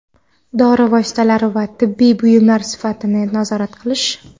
dori vositalari va tibbiy buyumlar sifatini nazorat qilish;.